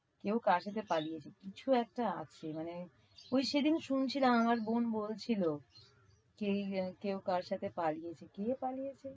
কেউ কারো সাথে পালিয়ে এসেছে। কিছু একটা আছে। মানে ওই সেদিন শুনছিলাম আমার বোন বলছিল। কে~ কেউ কারো সাথে পালিয়ে এসেছে। কে পালিয়েছে?